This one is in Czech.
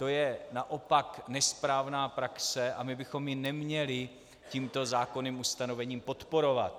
To je naopak nesprávná praxe a my bychom ji neměli tímto zákonným ustanovením podporovat.